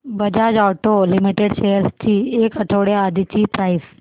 Bajaj auto limited shares ची एक आठवड्या आधीची प्राइस